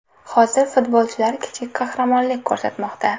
Hozir futbolchilar kichik qahramonlik ko‘rsatmoqda.